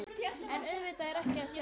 En auðvitað er ekkert að sjá.